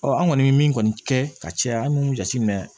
an kɔni bɛ min kɔni kɛ ka caya an b'u jate minɛ